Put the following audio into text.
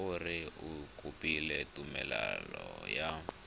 gore o kopile tumelelo ya